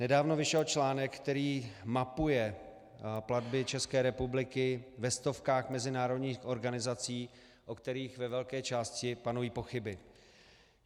Nedávno vyšel článek, který mapuje platby České republiky ve stovkách mezinárodních organizací, o kterých ve velké části panují pochyby.